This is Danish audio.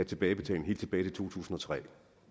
tilbagebetaling helt tilbage til to tusind og tre